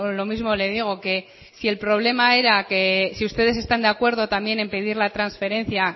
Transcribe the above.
lo mismo le digo que si el problema era que si ustedes están de acuerdo también en pedir la transferencia